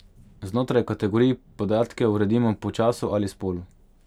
Znotraj kategorij podatke uredimo po času ali spolu.